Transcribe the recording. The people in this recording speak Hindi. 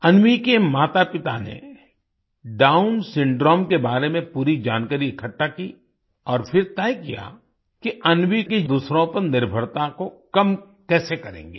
अन्वी के मातापिता ने डाउन सिंड्रोम के बारे में पूरी जानकारी इकट्ठा की और फिर तय किया कि अन्वी के दूसरों पर निर्भरता को कम कैसे करेंगे